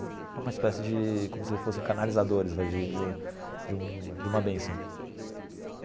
É uma espécie de, como se eles fossem canalizadores de de de um de uma benção.